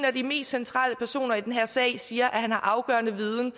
af de mest centrale personer i den her sag som siger at han har afgørende viden